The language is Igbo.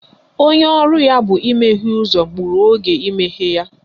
Onye ọrụ ya bụ imeghe ọnụụzọ gburu oge imeghe ya.